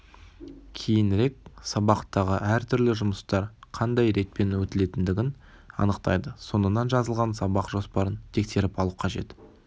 кейінірек сабақтағы әр түрлі жұмыстар қандай ретпен өтілетіндігін анықтайды соңынан жазылған сабақ жоспарын тексеріп алу қажет